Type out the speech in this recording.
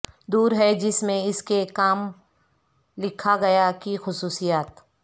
دور ہے جس میں اس کے کام لکھا گیا کی خصوصیات